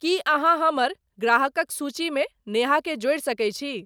की अहाँ हमर ग्राहकक सूचीमे नेहा के जोड़ि सकै छी